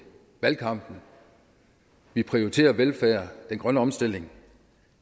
valgkampen vi prioriterer velfærd og den grønne omstilling